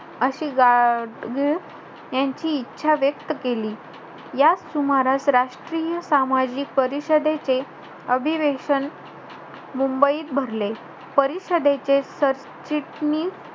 अशी गा~ अं गाडगीळ यांची इच्छा व्यक्त केली. या सुमारास राष्ट्रीय सामाजिक परिषदेचे अधिवेशन मुंबईत भरले. परिषदेचे सरचिटणीस,